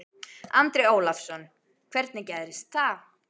Andri Ólafsson: Hvernig gerðist það?